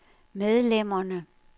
medlemmerne